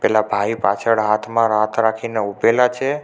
પેલા ભાઈ પાછળ હાથમાં હાથ રાખીને ઉભેલા છે.